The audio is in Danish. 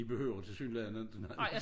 Vi behøver tilsyneladende ikke det